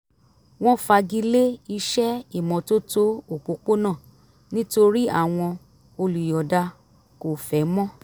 wọ́n fagilé iṣẹ́ ìmọ́tótó òpópónà nítorí àwọn olùyọ̀ọ̀da kò fẹ́ mọ́